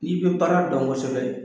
N'i be baara dɔn kosɛbɛ